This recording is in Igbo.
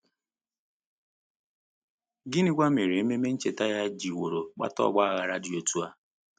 Gịnịkwa mere ememe ncheta ya jiworo kpata ọgba aghara dị otú ahụ?